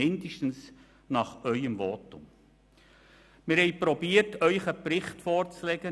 Wir haben versucht, Ihnen eine Einschätzung über einen Bericht vorzulegen.